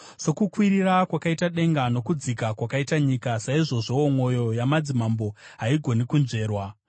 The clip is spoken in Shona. Sokukwirira kwakaita denga nokudzika kwakaita nyika, saizvozvowo mwoyo yamadzimambo haigoni kunzverwa.